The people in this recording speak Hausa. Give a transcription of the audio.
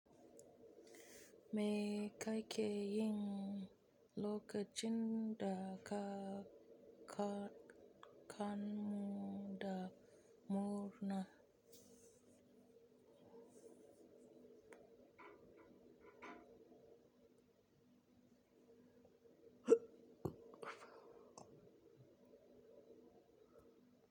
Me kake yin lokacin da ka kanda murna?